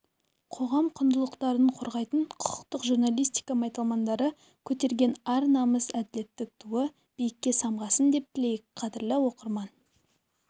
қоғам құндылықтарын қорғайтын құқықтық журналистика майталмандары көтерген ар намыс әділеттілік туы биікке самғасын деп тілейік қадірлі оқырман